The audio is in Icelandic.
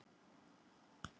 en hvað með hana melkorku